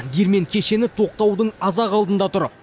диірмен кешені тоқтаудың аз ақ алдында тұр